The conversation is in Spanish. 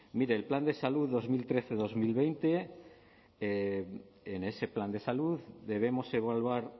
mire el plan de salud dos mil trece dos mil veinte en ese plan de salud debemos evaluar